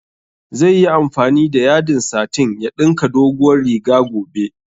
Zai yi amfani da yadin satin ya ɗinka dogowar riga gobe